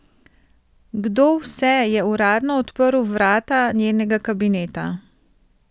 Kdo vse je uradno odprl vrata njenega kabineta?